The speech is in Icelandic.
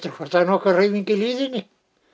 hvort það er nokkuð hreyfing í hlíðinni